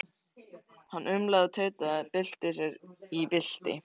Hann umlaði og tautaði, bylti sér og bylti.